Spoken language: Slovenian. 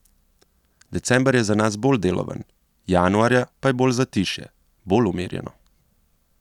December je za nas bolj deloven, januarja pa je bolj zatišje, bolj umirjeno.